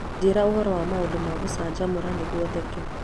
njĩra ũhoro wa maũndũ ma gũcanjamũra nĩguo theke